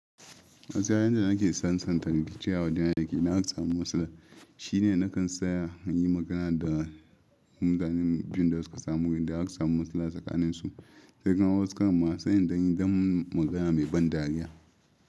Matsayar yadda nake sansanta miki cewa da na yake na haksa musu da shi ne, nakan tsaya na yi magana da maza biyu da suka samu gidan hakka musu da tsakaninsu. Sai kuma wasu kan ma sanya dan yi don magana mai ban dariya.